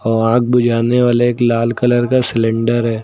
आग बुझाने वाले एक लाल कलर का सिलेंडर है।